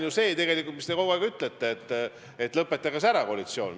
Aga tegelikult te ju kogu aeg ütlete meile, et lõpetage see koalitsioon ära.